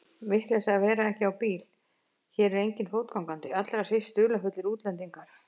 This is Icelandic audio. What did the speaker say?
Vitleysa að vera ekki á bíl, hér er enginn fótgangandi, allra síst dularfullir útlendingar.